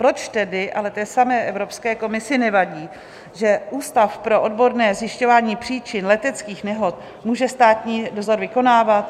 Proč tedy ale té samé Evropské komisi nevadí, že Ústav pro odborné zjišťování příčin leteckých nehod může státní dozor vykonávat?